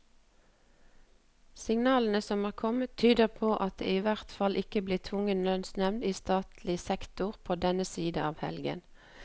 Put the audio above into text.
Signalene som er kommet, tyder på at det i hvert fall ikke blir tvungen lønnsnevnd i statlig sektor på denne siden av helgen.